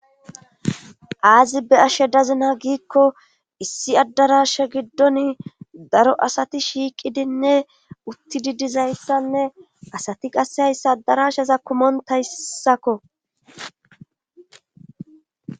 aazi be ashe dazina giikko issi addarasha giddon daro asati shiiqidinne utti didizayssanne asati qasse hayssa addarashaza kumontayssako